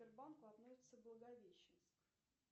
сбербанку относится благовещенск